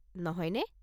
নহয়নে?